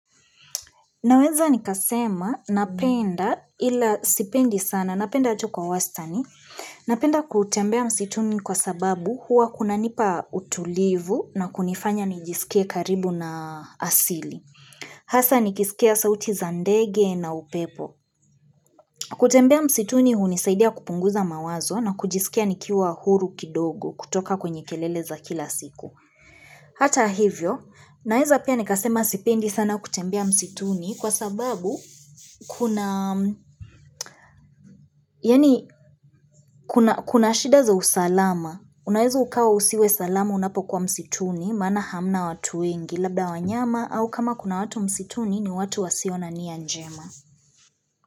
Naweza nikasema, napenda ila sipendi sana, napenda ato kwa wasitani, napenda kutembea msituni kwa sababu huwa kuna nipa utulivu na kunifanya nijisikie karibu na asili. Hasa nikisikia sauti za ndege na upepo. Kutembea msituni hunisaidia kupunguza mawazo na kujisikia nikiwa huru kidogo kutoka kwenye kelele za kila siku. Hata hivyo, naeza pia nekasema sipendi sana kutembea msituni kwa sababu kuna shida za usalama. Unaeza ukawa usiwe salama unapo kwa msituni maana hamna watu wengi labda wanyama au kama kuna watu msituni ni watu wasio na nia njema.